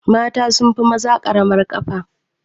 Mata sunfi maza ƙaramar kafa